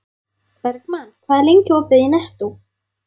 Bergmann, hvað er lengi opið í Nettó?